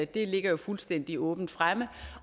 det ligger jo fuldstændig åbent fremme